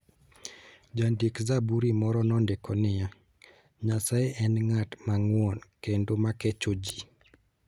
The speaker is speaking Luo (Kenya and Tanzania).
Jandik - zaburi moro nondiko niya: "Nyasaye en ng'at mang'won kendo ma kecho ji.